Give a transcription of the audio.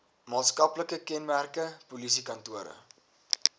maatskaplike kenmerke polisiekantore